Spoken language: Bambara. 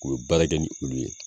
O be baara kɛ ni olu ye